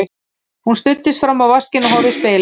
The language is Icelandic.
Hún studdist fram á vaskinn og horfði í spegilinn.